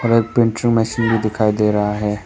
एक printer machine में दिखाई दे रहा है।